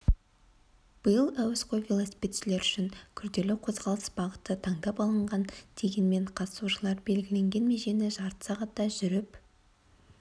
биыл әуесқой велосипедшілер үшін күрделі қозғалыс бағыты таңдап алынған дегенмен қатысушылар белгіленген межені жарты сағатта жүріп